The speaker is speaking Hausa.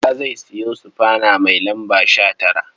Bala zai sayo sufana mai lamba 19.